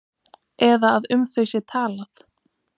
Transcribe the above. Eða að um þau sé talað?